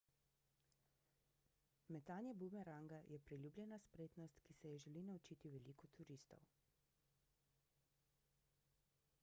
metanje bumeranga je priljubljena spretnost ki si je želi naučiti veliko turistov